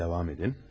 Davam edin.